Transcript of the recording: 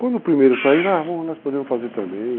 Quando o primeiro sair, nós podemos fazer também.